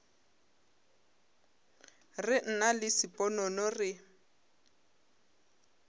re nna le sponono re